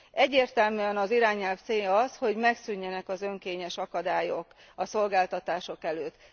Egyértelműen az irányelv célja az, hogy megszűnjenek az önkényes akadályok a szolgáltatások előtt.